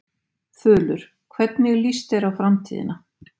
Þulur: Hvernig líst þér á framtíðina?